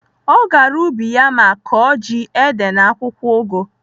Ọ gara ubi ya ma kọọ ji, ede na akwụkwọ ụgụ.